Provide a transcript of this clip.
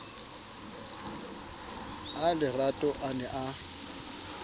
a lerato a ne a